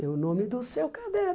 Meu nome do céu, cadê?